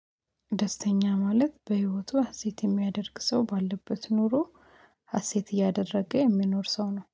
ደስተኛ ማለት በህይወቱ ሀሴት የሚያደርግ ሰው ባለበት ኖሮ ሀሴት እያደረገ የሚኖር ሰው ነው፤